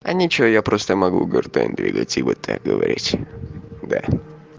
а ничего я просто могу гартань двигатель и вот так говорить да